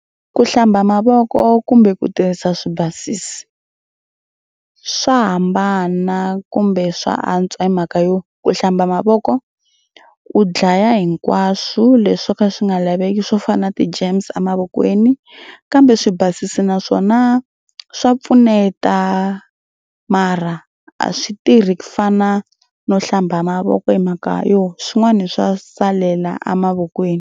Ki hlamba mavoko kumbe ku tirhisa swibasisi swa hambana kumbe swa antswa hi mhaka yo ku hlamba mavoko u dlaya hinkwaswo leswi swo ka swi nga laveki swo fana na ti-germs a mavokweni kambe swibasisi naswona swa pfuneta mara a swi tirhi ku fana no hlamba mavoko hi mhaka yona swin'wana swa salela a mavokweni.